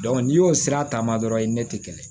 n'i y'o sira ta dɔrɔn i tɛ kɛlɛ